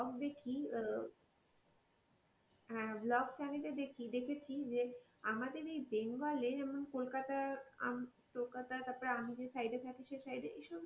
এ blog দেখি তো হয় ব্লগ চ্যানেল এ দেখি দেখেছি যে কি যে আমাদের এই বেঙ্গাল এ যেমন কলকাতা হম কলকাতা তারপরে আমি যে side এ থাকি সেই side এ এইসব,